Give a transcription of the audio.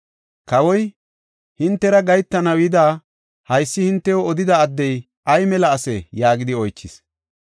Kawoy, “Hintera gahetanaw yidi, haysa hintew odida addey ay mela asee?” yaagidi oychis.